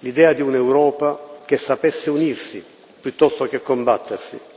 l'idea di un'Europa che sapesse unirsi piuttosto che combattersi.